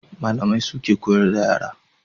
Malamai suke koyar da yara